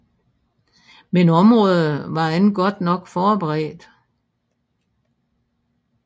Men området var ikke godt nok forberedt